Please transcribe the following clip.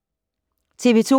TV 2